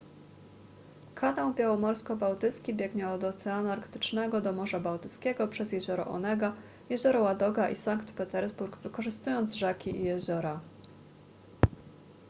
kanał białomorsko-bałtycki biegnie od oceanu arktycznego do morza bałtyckiego przez jezioro onega jezioro ładoga i sankt petersburg wykorzystując rzeki i jeziora